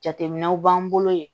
Jateminɛw b'an bolo yen